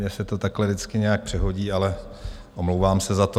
Mně se to takhle vždycky nějak přehodí, ale omlouvám se za to.